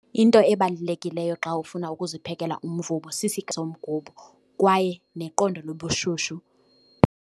Into ebalulekileyo xa ufuna ukuziphekela umvubo somgubo kwaye neqondo lobushushu.